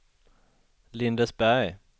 Lindesberg